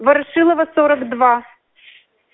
ворошилова сорок два